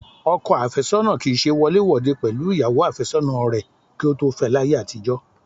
Ọkọ àfẹ́sọ́nà kì í ṣe wọléwòde pẹ̀lú ìyàwó àfẹ́sọ́nà rẹ kí ó tó fẹ láyé àtijọ́